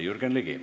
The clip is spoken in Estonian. Jürgen Ligi.